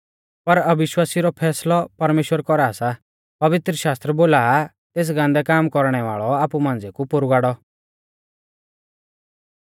पर अविश्वासिऊ रौ फैसलौ परमेश्‍वर कौरा सा पवित्रशास्त्र बोला आ तेस गान्दै काम कौरणै वाल़ौ आपु मांझ़िऐ कु पोरु गाड़ौ